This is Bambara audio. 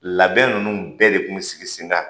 Labɛn ninnu bɛɛ de kun bɛ sigi sen kan